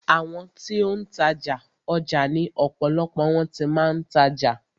Àwọn ti ó ń tajà, ọjà ni ọ̀pọ̀lọpọ̀ wọn ti máa ń tajà.